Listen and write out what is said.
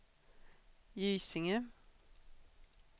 Gysinge